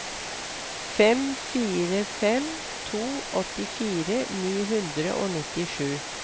fem fire fem to åttifire ni hundre og nittisju